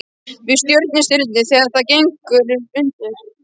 Við Sjöstirnið þegar það gengur undir.